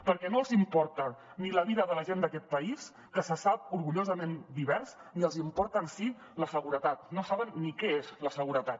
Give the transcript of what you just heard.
perquè no els importa ni la vida de la gent d’aquest país que se sap orgullosament divers ni els importa en si la seguretat no saben ni què és la seguretat